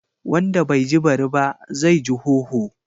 Wanda bai ji bari ba zai ji hoho.